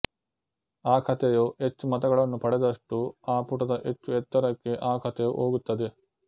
ಆ ಕಥೆಯು ಹೆಚ್ಚು ಮತಗಳನ್ನು ಪಡೆದಷ್ಟು ಆ ಪುಟದ ಹೆಚ್ಚು ಎತ್ತರಕ್ಕೆ ಆ ಕಥೆಯು ಹೋಗುತ್ತದೆ